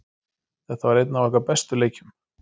Þetta var einn af okkar bestu leikjum.